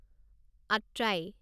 Atrai